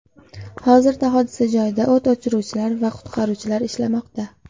Hozirda hodisa joyida o‘t o‘chiruvchilar va qutqaruvchilar ishlamoqda.